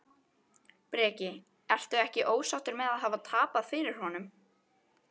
Breki: Ertu ekkert ósáttur með að hafa tapað fyrir honum?